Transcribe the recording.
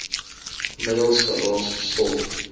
middels geraas stof